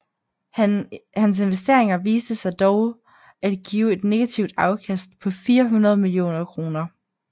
Han investeringer viste sig dog at give et negativt afkast på 400 millioner kroner